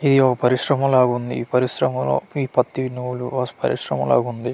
ఇది ఓ పరిశ్రమ లాగా ఉంది ఈ పరిశ్రమ లో పి పత్తి నూలు పరిశ్రమ లాగా ఉంది.